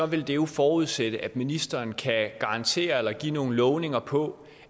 vil jo forudsætte at ministeren kan garantere eller give nogle lovninger på